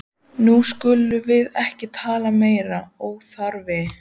Nú skulum við ekki tala meiri óþarfa!